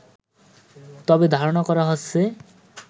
তবে ধারণা করা হচ্ছে